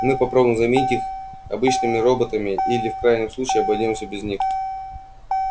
мы попробуем заменить их обычными роботами или в крайнем случае обойдёмся без них